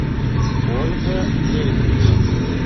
ольга лебедева